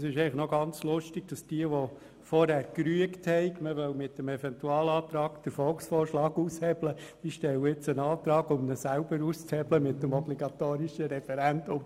Es ist ganz lustig: Diejenigen, die vorhin gerügt haben, man wolle mit dem Eventualantrag den Volksvorschlag aushebeln, stellen nun einen Antrag, um ihn selber mit dem obligatorischen Referendum auszuhebeln.